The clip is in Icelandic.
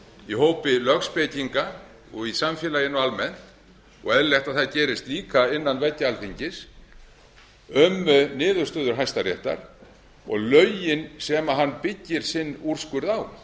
í hópi lögspekinga og í samfélaginu almennt og er eðlilegt að það gerist líka innan veggja alþingis um niðurstöðu hæstaréttar og lögin sem hann byggir sinn úrskurð á